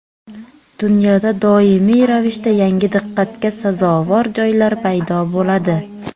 Dunyoda doimiy ravishda yangi diqqatga sazovor joylar paydo bo‘ladi.